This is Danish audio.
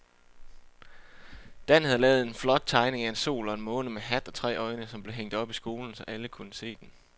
Dan havde lavet en flot tegning af en sol og en måne med hat og tre øjne, som blev hængt op i skolen, så alle kunne se den.